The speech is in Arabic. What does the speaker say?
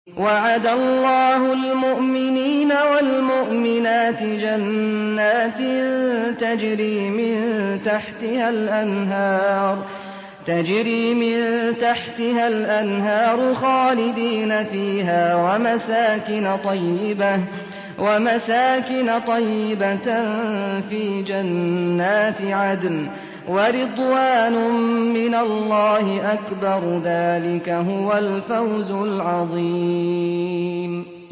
وَعَدَ اللَّهُ الْمُؤْمِنِينَ وَالْمُؤْمِنَاتِ جَنَّاتٍ تَجْرِي مِن تَحْتِهَا الْأَنْهَارُ خَالِدِينَ فِيهَا وَمَسَاكِنَ طَيِّبَةً فِي جَنَّاتِ عَدْنٍ ۚ وَرِضْوَانٌ مِّنَ اللَّهِ أَكْبَرُ ۚ ذَٰلِكَ هُوَ الْفَوْزُ الْعَظِيمُ